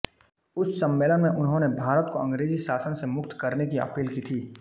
उस सम्मेलन में उन्होंने भारत को अंग्रेजी शासन से मुक्त करने की अपील की थी